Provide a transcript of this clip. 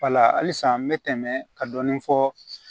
halisa n bɛ tɛmɛ ka dɔɔnin fɔ